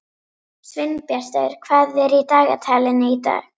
Sveinbjartur, hvað er í dagatalinu í dag?